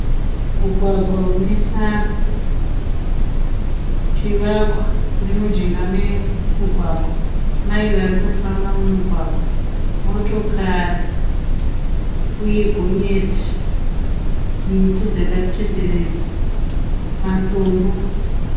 Mugwagwa une tara. Chivakwa chiri mujinga memugwagwa. Mai varikufamba mumugwagwa. Motokari uye gonyeti. Miti dzakatenderedza matombo.